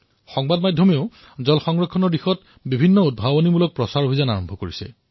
সংবাদ মাধ্যমেও কিছুমান উদ্ভাৱনীমূলক শিবিৰৰ আয়োজন কৰিছে